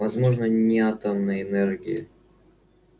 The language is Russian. возможно не атомной энергии